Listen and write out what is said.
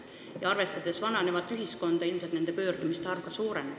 Ja arvestades vananevat ühiskonda, võib ennustada, et nende pöördumiste arv suureneb.